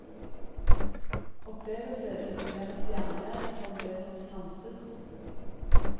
Opplevelse defineres gjerne som det som sanses.